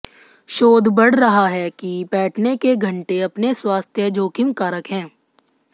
शोध बढ़ रहा है कि बैठने के घंटे अपने स्वास्थ्य जोखिम कारक हैं